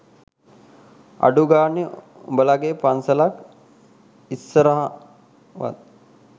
අඩු ගානේ උඹලගේ පන්සලක් ඉස්සරහවත්